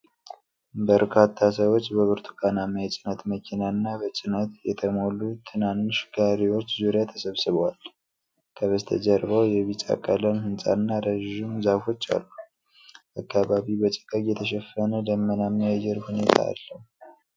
በርካታ ሰዎች በብርቱካናማ የጭነት መኪናና በጭነት የተሞሉ ትናንሽ ጋሪዎች ዙሪያ ተሰባስበዋል። ከበስተጀርባው የቢጫ ቀለም ሕንፃና ረዥም ዛፎች አሉ። አካባቢው በጭጋግ የተሸፈነ ደመናማ የአየር ሁኔታ አለው።